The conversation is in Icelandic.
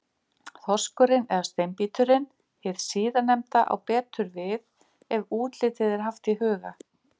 Þorskurinn eða Steinbíturinn, hið síðarnefnda á betur við ef útlitið er haft í huga.